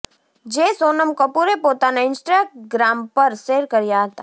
જે સોનમ કપૂરે પોતાના ઇન્સ્ટાગ્રામ પર શૅર કર્યા હતાં